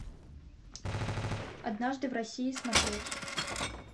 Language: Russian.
однажды в россии смотреть